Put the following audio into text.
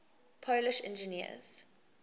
polish engineers